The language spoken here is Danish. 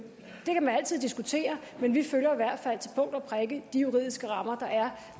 man altid diskutere men vi følger i hvert fald til punkt og prikke de juridiske rammer der er